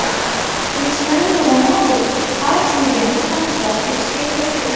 Krishtianu Ronaldu A Seriyani ham zabt etishga kirishdi.